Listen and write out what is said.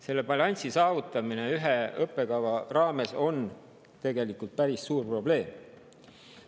Selle balansi saavutamine ühe õppekava raames on tegelikult päris suur probleem.